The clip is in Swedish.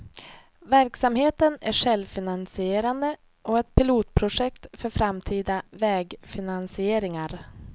Verksamheten är självfinansierande och ett pilotprojekt för framtida vägfinansieringar.